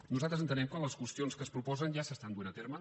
nosaltres entenem que les qüestions que s’hi proposen ja s’estan duent a terme